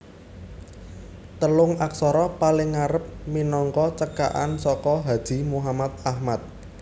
Telung aksara paling ngarep minangka cekakan saka Haji Muhammad Ahmad